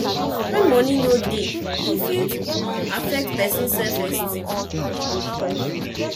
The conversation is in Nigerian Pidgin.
when money no dey e fit um affect person self esteem